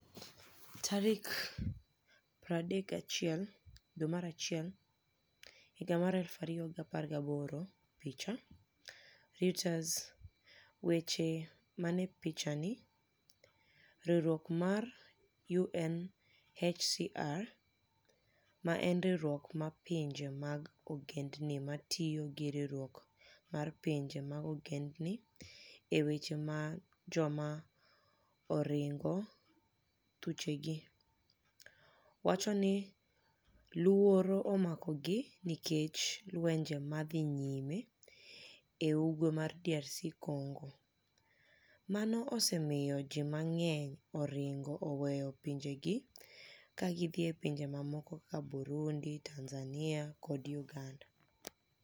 31 Janiuar, 2018 Picha: Reuters Weche maniie pichanii Riwruok mar UniHCR, ma eni riwruok mar pinije mag ogenidinii matiyo gi riwruok mar pinije mag ogenidinii e weche mag joma orinigo thuchegi, wacho nii luoro omakogi niikech lwenije ma dhi niyime e Ugwe mar DR Conigo. Mano osemiyo ji manig'eniy orinigo oweyo pinijegi ka gidhi e pinije mamoko kaka Burunidi, Tanizaniia, kod Uganida.